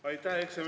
Hea ettekandja!